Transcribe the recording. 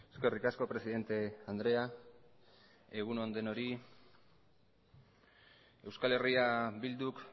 eskerrik asko presidente andrea egun on denoi euskal herria bilduk